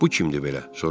Bu kimdir belə?